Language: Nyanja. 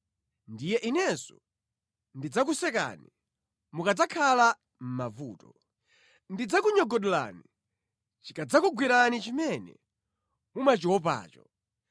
Ndiye inenso ndidzakusekani mukadzakhala mʼmavuto; ndidzakunyogodolani chikadzakugwerani chimene mumachiopacho.